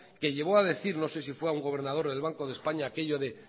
que llevó a decir no sé si fue a un gobernador del banco de españa aquello de